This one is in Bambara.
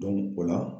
o la